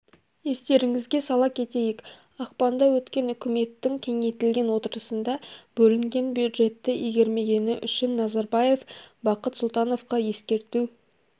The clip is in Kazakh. естеріңізге сала кетейік ақпанда өткен үкіметтің кеңейтілген отырысында бөлінген бюждетті игермегені үшін назарбаев бақыт сұлтановқа ескерту